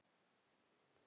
Kona fyrri alda.